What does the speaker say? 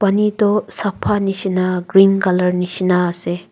pani toh sapha nishina green colour nishinaase.